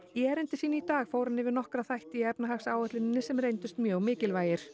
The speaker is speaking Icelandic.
erindi sínu í dag fór hann yfir nokkra þætti í efnahagsáætluninni sem reyndust mjög mikilvægir